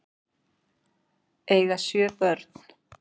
Eiga sjö börn